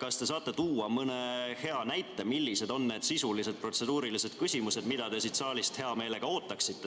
kas te saate tuua mõne hea näite, millised on need sisulised protseduurilised küsimused, mida te saalist hea meelega ootaksite.